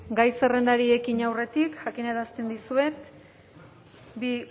gai zerrendari ekin aurretik jakinarazten dizuet bi